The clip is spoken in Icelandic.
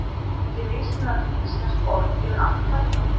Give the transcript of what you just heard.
Eru til mismunandi íslensk orð yfir allt þetta?